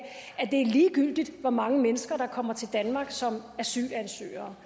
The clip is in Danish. det er ligegyldigt hvor mange mennesker der kommer til danmark som asylansøgere